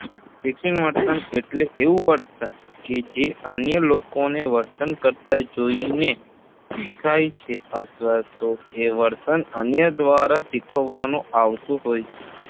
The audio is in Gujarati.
શિક્ષિત વર્તન એટલે એવું વર્તન કે જે અન્ય લોકોને વર્તન કરતાં જોઈને શીખાય છે અથવા તો એ વર્તન અન્ય દ્વારા શીખવવાનું આવતું હોય છે